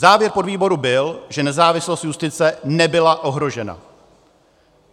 Závěr podvýboru byl, že nezávislost justice nebyla ohrožena.